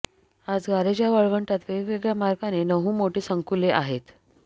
आज गारेजा वाळवंटात वेगवेगळ्या मार्गांनी नऊ मोठे संकुले आहेत